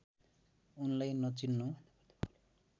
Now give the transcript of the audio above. उनलाई नचिन्नु